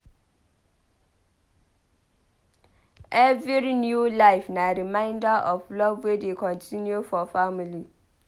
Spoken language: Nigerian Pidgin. Every new life na reminder of love wey dey continue for family.